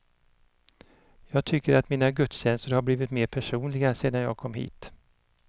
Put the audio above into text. Jag tycker att mina gudstjänster har blivit mer personliga sedan jag kom hit.